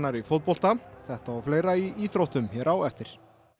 í fótbolta þetta og fleira í íþróttum hér á eftir